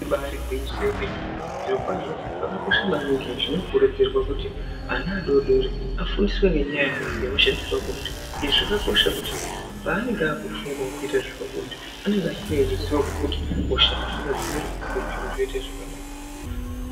Ibairi gwinyiso remene, zvirokwazvo zvakakosha maningi zvinokurudzirwa kuti ana adodori afundiswe ngenyaya yehosha dzepabonde, izvi zvakakosha kuti paanenge akufungawo kuita zvepabonde anenge ane ruzivo rwekuti hosha dzinodzivirirwa sei zviro zvoita zvakanaka.